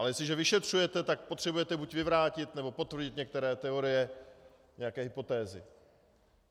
Ale jestliže vyšetřujete, tak potřebujete buď vyvrátit, nebo potvrdit některé teorie, nějaké hypotézy.